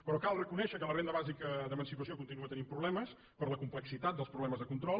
però cal reconèixer que la renda bàsica d’emancipació continua tenint problemes per la complexitat dels problemes de control